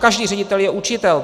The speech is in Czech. Každý ředitel je učitel.